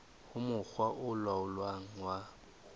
ho mokga o laolang wa